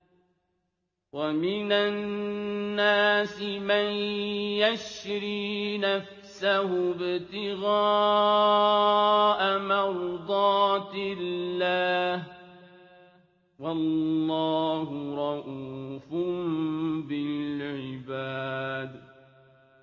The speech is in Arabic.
وَمِنَ النَّاسِ مَن يَشْرِي نَفْسَهُ ابْتِغَاءَ مَرْضَاتِ اللَّهِ ۗ وَاللَّهُ رَءُوفٌ بِالْعِبَادِ